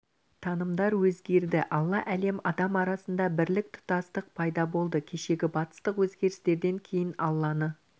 танымдар өзгерді алла әлем адам арасында бірлік тұтастық пайда болды кешегі батыстық өзгерістерден кейін алланы